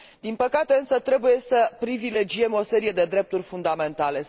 Din păcate, însă, trebuie să privilegiem o serie de drepturi fundamentale.